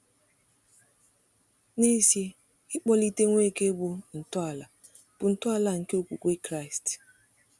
N’ezie, ịkpọlite Nweke bụ ntọala bụ ntọala nke okwukwe Kraịst.